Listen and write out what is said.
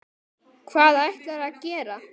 Hvað ætlarðu að gera?